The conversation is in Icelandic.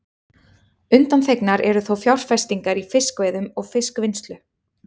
Undanþegnar eru þó fjárfestingar í fiskveiðum og fiskvinnslu.